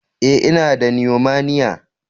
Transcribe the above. Eh, I na da "pneumonia ".